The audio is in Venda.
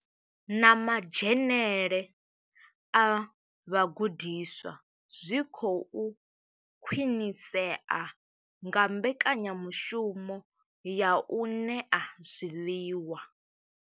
Na madzhenele a vhagudiswa zwi khou khwinisea nga mbekanyamushumo ya u ṋea zwiḽiwa.